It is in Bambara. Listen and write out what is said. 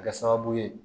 Kɛ sababu ye